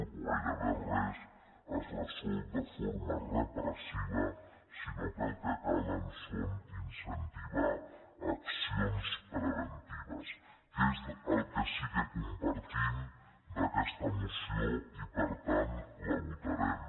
o gairebé res es resol de forma repressiva sinó que el que cal és incentivar accions preventives que és el que sí que compartim d’aquesta moció i per tant la votarem